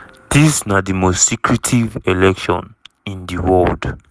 dis na di most secretive election in di world.